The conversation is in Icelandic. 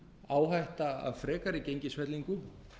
áhætta af frekari gengisfellingu